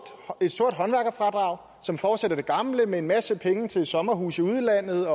et sort håndværkerfradrag som fortsætter det gamle med en masse penge til sommerhuse i udlandet